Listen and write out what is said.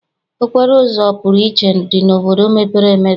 Okporoụzọ ọpụrụiche dị n'obodo mepere emepe.